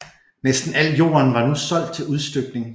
Næsten al jorden var nu solgt til udstykning